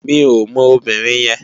Mi ó mò óbìrín yèn